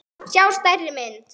sjá stærri mynd.